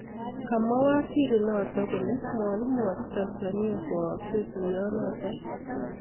Kamwa waziri notok kole mwakimwachi Tanzania koaksei tuyo notok